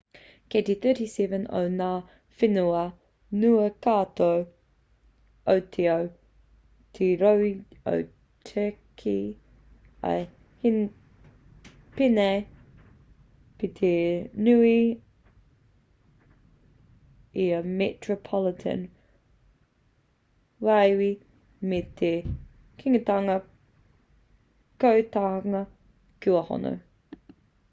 kei te 37 o ngā whenua nui katoa o te ao te rohe o turkey ā he pēnei pea te nui i a metropolitan wīwi me te kingitanga kotahitanga kua hono